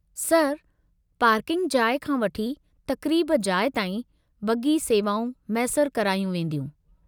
Sir, parking जाइ खां वठी तक़रीबु जाइ ताईं बग्गी सेवाऊं मैसरि करायूं वेंदियूं।